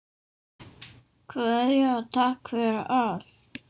Kveðja og takk fyrir allt.